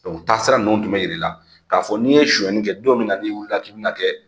taa sira nunnu tun bɛ yira i la ka fɔ n'i ye suɲɛni kɛ , don min na n'i wili k'i bi na kɛ